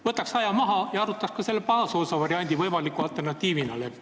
Võtaks aja maha ja arutaks ka selle baasosa variandi võimaliku alternatiivina läbi.